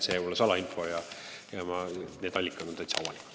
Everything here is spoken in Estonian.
See pole salainfo, need allikad on täitsa avalikud.